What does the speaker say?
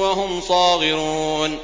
وَهُمْ صَاغِرُونَ